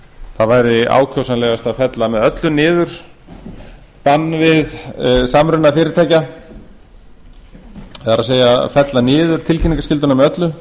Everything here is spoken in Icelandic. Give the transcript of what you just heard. það væri ákjósanlegast að fella með öllu niður bann við samruna fyrirtækja það er fella niður tilkynningarskylduna með öllu